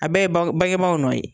A bɛɛ ye bange bangebagaw nɔn ye.